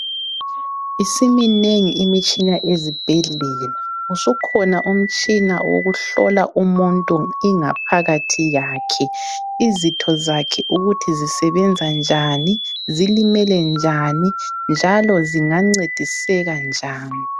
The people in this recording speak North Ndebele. Isiminengi imitshina ezibhedlela. Usukhona umtshina wokuhlola umuntu ingaphakathi yakhe. Izitho zakhe ukuthi zisebenzanjani, zilimelenjani, njalo zingancediseka njani.